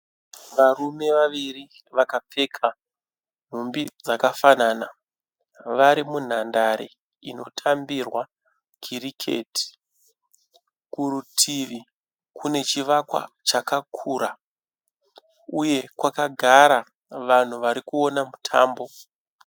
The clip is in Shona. Varume vawiri vakapfeka nhumbi dzakafanana vari munhandare inotambirwa kiriketi kurutivi kune chivakwa chakakura uye kwakagara vanhu varikuona mutambo